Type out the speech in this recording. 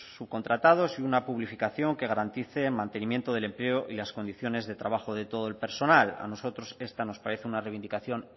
subcontratados y una publificación que garantice el mantenimiento del empleo y las condiciones de trabajo de todo el personal a nosotros esta nos parece una reivindicación